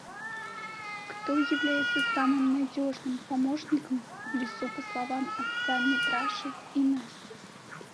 кто является самым надежным помощником в лесу по словам отца митраши и насти